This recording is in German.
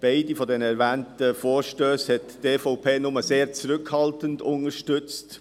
Beide Vorstösse hat die EVP nur sehr zurückhaltend unterstützt.